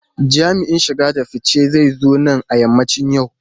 Jami'in shige da fice zai zo nan a yammacin yau.